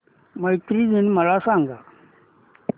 मैत्री दिन मला सांगा